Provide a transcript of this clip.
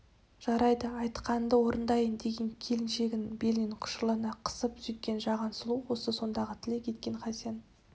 жарайды айтқаныңды орындайын деген келіншегін белінен құшырлана қысып сөйткен жаған сұлу осы сондағы тілек еткен хасен